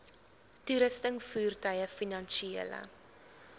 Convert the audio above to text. toerusting voertuie finansiële